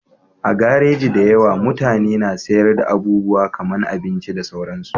A garaji da yawa, mutane na sayar da abubuwa kaman abinci da sauransu